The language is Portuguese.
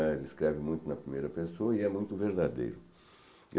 Ele escreve muito na primeira pessoa e é muito verdadeiro.